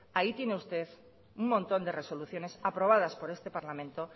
ahí tiene usted un montón de resoluciones aprobadas por este parlamento